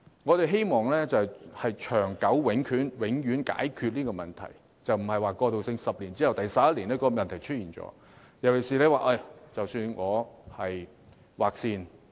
我們希望能長久地、永遠解決這個問題，而非過渡性質，即10年過後，問題便在第11年出現。